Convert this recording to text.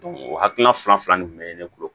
o hakilina fila fila nin bɛ ne kun